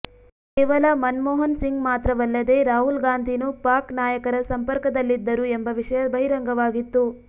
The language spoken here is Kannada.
ಕೇವಲ ಮನಮೋಹನ್ ಸಿಂಗ್ ಮಾತ್ರವಲ್ಲದೆ ರಾಹುಲ್ ಗಾಂಧೀನೂ ಪಾಕ್ ನಾಯಕರ ಸಂಪರ್ಕದಲ್ಲಿದ್ದರು ಎಂಬ ವಿಷಯ ಬಹಿರಂಗವಾಗಿತ್ತು